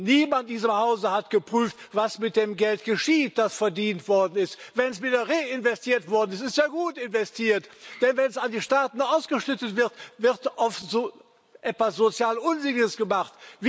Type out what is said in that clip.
Niemand in diesem Hause hat geprüft, was mit dem Geld geschieht, das verdient worden ist. Wenn es wieder reinvestiert worden ist, ist es ja gut investiert, denn wenn es an die Staaten ausgeschüttet wird, wird etwas sozial Unsinniges gemacht.